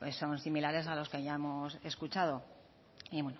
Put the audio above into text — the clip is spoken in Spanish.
son similares a los que ya hemos escuchado y